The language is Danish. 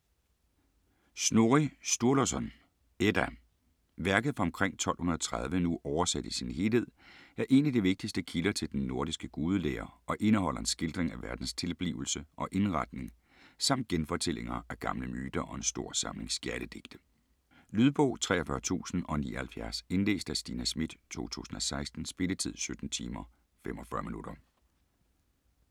Snorri Sturluson: Edda Værket fra omkring 1230, nu oversat i sin helhed, er en af de vigtigste kilder til den nordiske gudelære og indeholder en skildring af verdens tilblivelse og indretning samt genfortællinger af gamle myter og en stor samling skjaldedigte. Lydbog 43079 Indlæst af Stina Schmidt, 2016. Spilletid: 17 timer, 45 minutter.